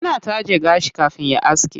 Yana taje gashi kafin ya aske.